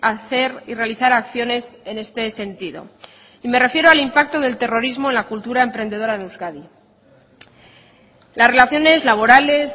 hacer y realizar acciones en este sentido y me refiero al impacto del terrorismo en la cultura emprendedora en euskadi las relaciones laborales